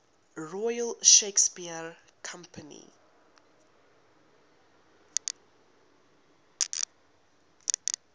royal shakespeare company